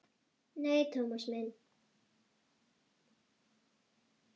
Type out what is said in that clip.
Nei, Thomas minn.